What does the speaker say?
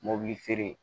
Mobili feere